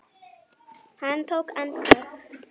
Hann tók andköf.